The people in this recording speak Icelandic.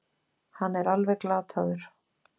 Hann er alveg glataður.